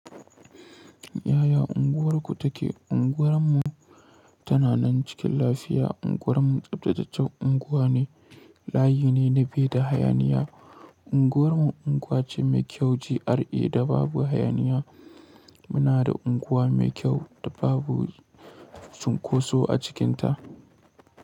Yaya unguwarku take? Unguwar mu tana nan cikin lafiya. Unguwar mu tsaftataccen unguwa ne, layi ne na bai da hayaniya. Unguwar mu unguwa ce mai kyau GRA da babu hayaniya. Muna da unguwa mai kyau da babu cunkoso a cikinta.